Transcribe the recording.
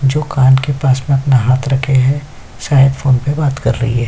जो कान के पास में अपना हाथ रखे हैं शायद फोन पे बात कर रही है।